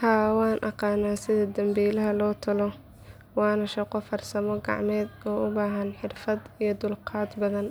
Haa waan aqaan sida dambiilaha loo tolo waana shaqo farsamo gacmeed oo u baahan xirfad iyo dulqaad badan